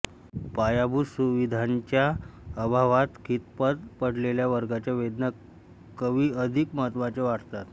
पायाभूत सुविधांच्या अभावात खितपत पडलेल्या वर्गाच्या वेदना कवी अधिक महत्त्वाच्या वाटतात